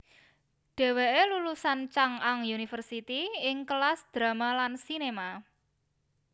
Dheweke lulusan Chung Ang University ing kelas Drama lan Cinema